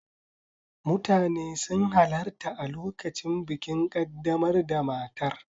Mutane sun halarta a lokacin bikin kaddamar da matar.